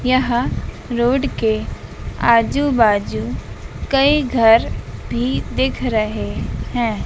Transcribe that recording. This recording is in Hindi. यह रोड के आजू बाजू कही घर भी दिख रहे है।